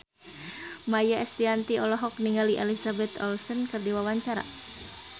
Maia Estianty olohok ningali Elizabeth Olsen keur diwawancara